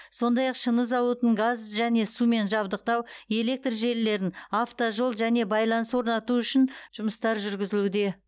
сондай ақ шыны зауытының газ және сумен жабдықтау электр желілерін автожол және байланыс орнату үшін жұмыстар жүргізілуде